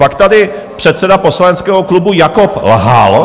Pak tady předseda poslaneckého klubu Jakob lhal.